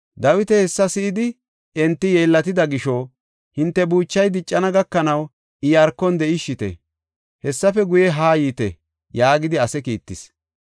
Dawiti hessa si7idi, enti yeellatida gisho, “Hinte buuchay diccana gakanaw Iyaarkon de7ishite; hessafe guye, haa yiite” yaagidi ase kiittis.